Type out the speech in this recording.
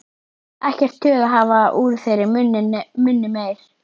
Ekkert tuð að hafa úr þeirra munni meir.